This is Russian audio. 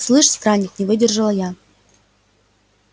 слышь странник не выдержала я